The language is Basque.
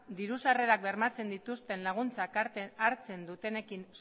diru sarrerak bermatzen dituzten laguntzen dituenekin